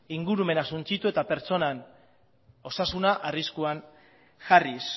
ingurumena suntsitu eta pertsonan osasuna arriskuan jarriz